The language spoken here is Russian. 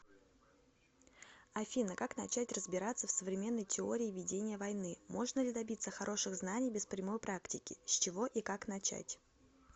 афина как начать разбираться в современной теории ведение войны можно ли добиться хороших знаний без прямой практики с чего и как начать